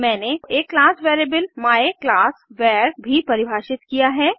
मैंने एक class variable my class var भी परिभाषित किया है